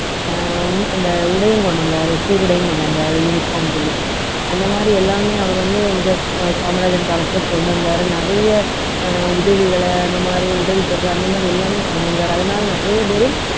அஹ் உ~ அந்த உடையும் கொண்டு வந்தாரு சீருடையும் கொண்டு வந்தாரு uniform சொல்லி அந்த மாதிரி எல்லாமே அவர் வந்து அஹ் காமராஜர் காலத்துல கொண்டு வந்தாரு நிறைய அஹ் உதவிகளை இந்த மாதிரி உதவித்தொகை அந்த மாதிரி எல்லாமே பண்ணி இருக்காரு அதனால நிறைய பேரு